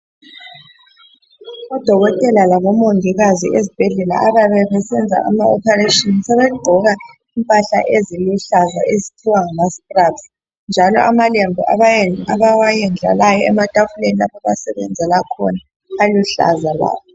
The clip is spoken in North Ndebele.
Odokotela labomongikazi ezibhedlela abayabe besenza ama oparetion sebeqgoka impahla eziluhlaza ezithiwa ngama stribes njalo amalembu abawe. ndlalayo ematafuleni lapho abasebenzela khona aluhlaza lawo